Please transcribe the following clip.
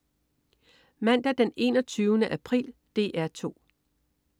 Mandag den 21. april - DR 2: